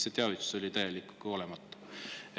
See teavitus oli täiesti olematu.